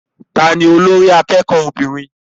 Ta ni olórí akẹ́kọ̀ọ́ obìnrin?